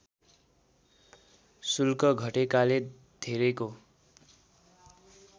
शुल्क घटेकाले धेरैको